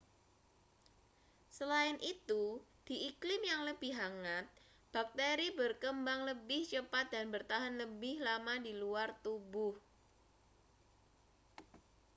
selain itu di iklim yang lebih hangat bakteri berkembang lebih cepat dan bertahan lebih lama di luar tubuh